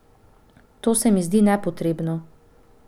To se mi zdi nepotrebno.